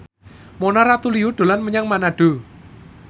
Mona Ratuliu dolan menyang Manado